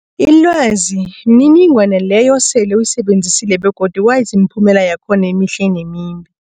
Ilwazi mniningwana leyo osele uyisebenzisile begodu wazi imiphumela yakhona emihle nemimbi.